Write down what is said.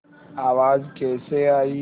आवाज़ कैसे आई